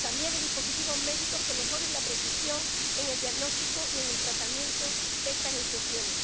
también de dispositivos médicos que mejoren la precisión en el diagnóstico y el tratamiento de estas infecciones.